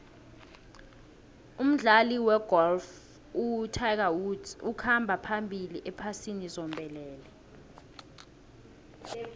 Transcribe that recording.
umdlali wegolf utiger woods ukhamba phambili ephasini zombelele